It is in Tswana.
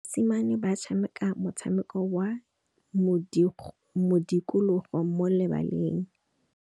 Basimane ba tshameka motshameko wa modikologô mo lebaleng.